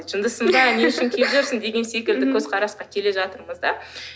жындысың ба не үшін киіп жүрсің деген секілді көзқарасқа келе жатырмыз да